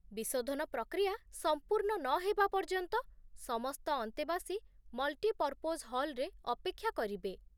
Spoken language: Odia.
ବିଶୋଧନ ପ୍ରକ୍ରିୟା ସମ୍ପୂର୍ଣ୍ଣ ନହେବା ପର୍ଯ୍ୟନ୍ତ, ସମସ୍ତ ଅନ୍ତେବାସୀ ମଲ୍ଟିପର୍ପୋଜ୍ ହଲ୍‌ରେ ଅପେକ୍ଷା କରିବେ